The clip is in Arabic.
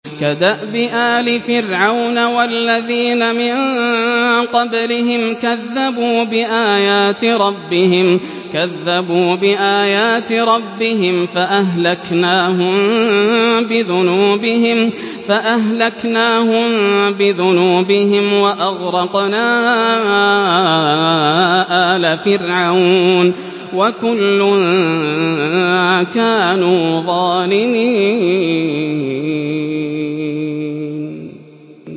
كَدَأْبِ آلِ فِرْعَوْنَ ۙ وَالَّذِينَ مِن قَبْلِهِمْ ۚ كَذَّبُوا بِآيَاتِ رَبِّهِمْ فَأَهْلَكْنَاهُم بِذُنُوبِهِمْ وَأَغْرَقْنَا آلَ فِرْعَوْنَ ۚ وَكُلٌّ كَانُوا ظَالِمِينَ